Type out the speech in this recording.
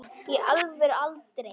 í alvöru aldrei